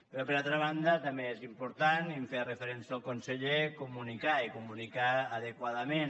però per altra banda també és important i hi feia referència el conseller comunicar i comunicar adequadament